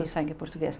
Sangue português.